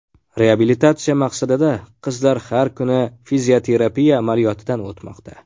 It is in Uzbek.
Reabilitatsiya maqsadida qizlar har kuni fizioterapiya amaliyotidan o‘tmoqda.